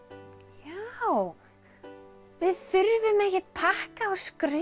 já við þurfum ekkert pakka og skraut